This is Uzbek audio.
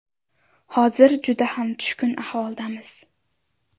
Hozir juda ham tushkun ahvoldamiz.